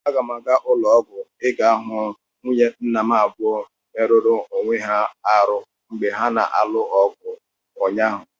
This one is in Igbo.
Aga m aga ụlọ ọgwụ ịga hụ nwunye nna m abụọ merụrụ onwe ha arụ mgba ha na-alụ ọgụ ụnyaahụ.